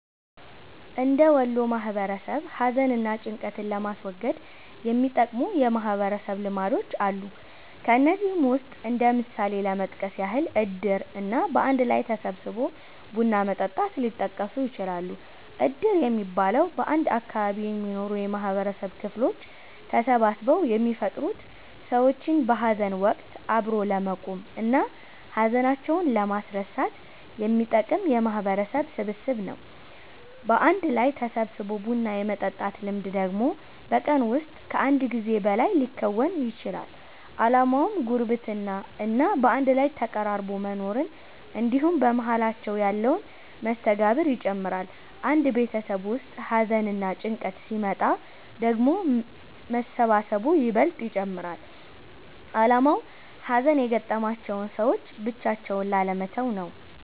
እንደ ወሎ ማህበረሰብ ሀዘን እና ጭንቀትን ለማስወገድ የሚጠቅሙ የማህበረሰብ ልምዶች አሉ። ከነዚህም ውስጥ እንደ ምሳሌ ለመጥቀስ ያህል እድር እና በአንድ ላይ ተሰባስቦ ቡና መጠጣት ሊጠቀሱ ይችላሉ። እድር የሚባለው፤ በአንድ አካባቢ የሚኖሩ የማህበረሰብ ክፍሎች ተሰባስበው የሚፈጥሩት ሰዎችን በሀዘን ወቀት አብሮ ለመቆም እና ሀዘናቸውን ለማስረሳት የሚጠቅም የማህበረሰብ ስብስብ ነው። በአንድ ላይ ተሰባስቦ ቡና የመጠጣት ልምድ ደግሞ በቀን ውስጥ ከአንድ ጊዜ በላይ ሊከወን ይችላል። አላማውም ጉርብትና እና በአንድ ላይ ተቀራርቦ መኖርን እንድሁም በመሃላቸው ያለን መስተጋብር ይጨምራል። አንድ ቤተሰብ ውስጥ ሀዘንና ጭንቀት ሲመጣ ደግሞ መሰባሰቡ ይበልጥ ይጨመራል አላማውም ሀዘን የገጠማቸውን ሰዎች ብቻቸውን ላለመተው ነው።